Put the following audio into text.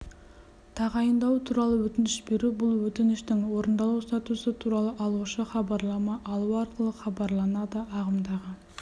тағайындау туралы өтініш беру бұл өтініштің орындалу статусы туралы алушы хабарлама алу арқылы хабарланады ағымдағы